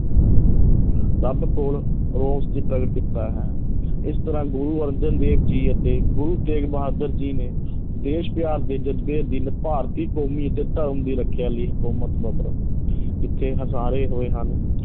ਰੱਬ ਕੋਲ ਰੋਸ ਚ ਪ੍ਰਗਟ ਕੀਤਾ ਹੈ ਇਸ ਤਰ੍ਹਾਂ ਗੁਰੂ ਅਰਜਨ ਦੇਵ ਜੀ ਅਤੇ ਗੁਰੂ ਤੇਗ ਬਹਾਦਰ ਜੀ ਨੇ ਦੇਸ਼ ਪਿਆਰ ਦੇ ਜ਼ਜਬੇ ਅਧੀਨ ਭਾਰਤੀ ਕੌਮੀ ਅਤੇ ਧਰਮ ਦੀ ਰੱਖਿਆ ਲਈ ਹਕੂਮਤ ਜਬਰ ਜਿੱਥੇ ਹੋਏ ਹਨ